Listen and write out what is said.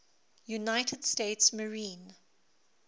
united states marine